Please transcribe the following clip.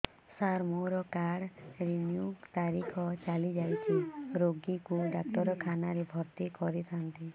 ସାର ମୋର card renew ତାରିଖ ଚାଲି ଯାଇଛି ରୋଗୀକୁ ଡାକ୍ତରଖାନା ରେ ଭର୍ତି କରିଥାନ୍ତି